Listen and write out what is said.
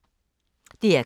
DR K